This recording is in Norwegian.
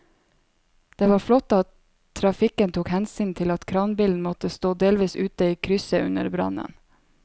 Det var flott at trafikken tok hensyn til at kranbilen måtte stå delvis ute i krysset under brannen.